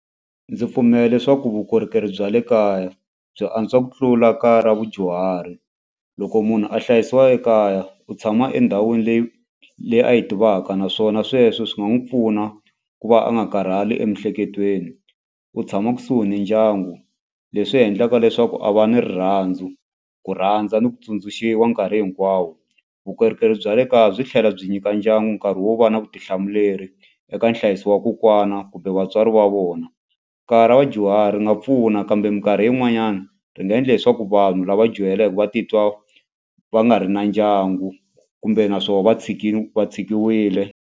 Ndzi pfumela leswaku vukorhokeri bya le kaya byi antswa ku tlula kaya ra vadyuhari loko munhu a hlayisiwa ekaya u tshama endhawini leyi leyi a yi tivaka naswona sweswo swi nga n'wi pfuna ku va a nga karhali emiehleketweni u tshama kusuhi ni ndyangu leswi endlaka leswaku a va ni rirhandzu ku rhandza ni ku tsundzuxiwa nkarhi hinkwawo vukorhokeri bya le kaya byi tlhela byi nyika ndyangu nkarhi wo va na vutihlamuleri eka nhlayiso wa kokwana kumbe vatswari va vona ekaya ra vadyuhari nga pfuna kambe mikarhi yin'wanyana ri nga endla leswaku vanhu lava dyuhaleke va titwa va nga ri na ndyangu kumbe naswona va tshikini va tshikiwile.